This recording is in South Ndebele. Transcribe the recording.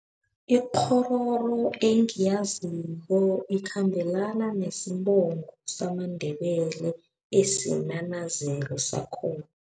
Ikghororo engiyaziko ikhambelana nesibongo samaNdebele esinesinanazelo sakhona.